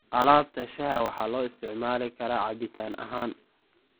Alaabta shaaha waxaa loo isticmaali karaa cabitaan ahaan.